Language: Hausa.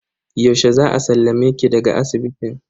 Yaushe za a sallame ki daga asibitin?